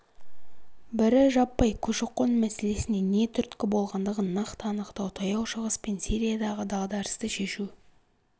бірі жаппай көші-қон мәселесіне не түрткі болғандығын нақты анықтау таяу шығыс пен сириядағы дағдарысты шешу